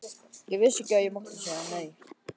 Ég vissi ekki að ég mátti segja nei.